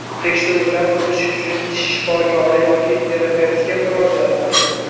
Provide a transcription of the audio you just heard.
Tekshiruvdan o‘tish uchun tish shifokori yoki terapevtga murojaat qiling.